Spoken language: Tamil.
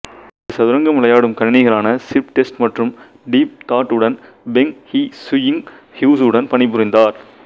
இங்குச் சதுரங்கம் விளையாடும் கணினிகளான சிப்டெஸ்ட் மற்றும் டீப் தாட் உடன் பெங்ஹிசியுங் ஹுசுவுடன் பணிபுரிந்தார்